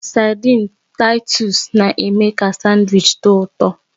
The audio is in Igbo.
Saidin Taitus na-eme ka sandwichi dị ụtọ